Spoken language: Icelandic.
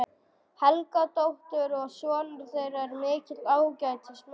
Helgadóttur, og sonur þeirra er mikill ágætismaður.